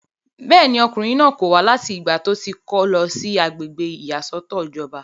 bẹ́ẹ̀ni, ọkùnrin náà kò wá láti ìgbà tó ti kó lọ sí agbègbè ìyàsọ́tọ̀ ìjọba